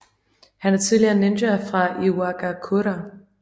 Han er tidligere ninja fra Iwagakure